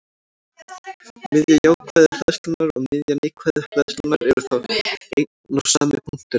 Miðja jákvæðu hleðslunnar og miðja neikvæðu hleðslunnar eru þá einn og sami punkturinn.